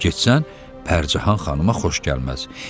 Getsən Pərcahan xanıma xoş gəlməz.